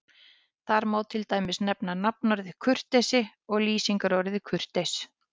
Þar má til dæmis nefna nafnorðið kurteisi og lýsingarorðið kurteis.